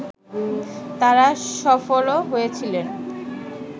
তাঁরা সফলও হয়েছিলেন